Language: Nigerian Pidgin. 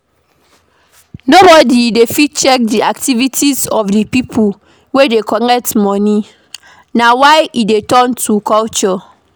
Nobody dey fit check di activities of di pipo wey dey collect money na why e don turn to culture